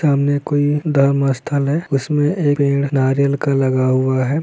सामने कोई धर्म स्थल है उसमे पेड़ नारियल का लगा हुआ है।